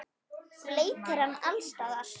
Bleytir hana alls staðar.